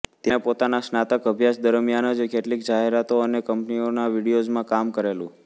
તેણે પોતાના સ્નાતક અભ્યાસ દરમિયાન જ કેટલીક જાહેરાતો અને કંપનીઓના વિડિયોઝમાં કામ કરેલું